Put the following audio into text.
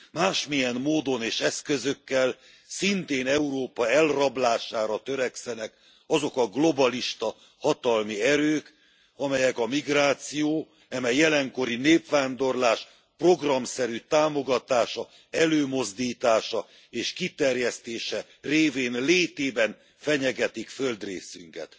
Másmilyen módon és eszközökkel, szintén Európa elrablására törekszenek azok a globalista hatalmi erők, amelyek a migráció eme jelenkori népvándorlás programszerű támogatása, előmozdítása és kiterjesztése révén létében fenyegetik földrészünket.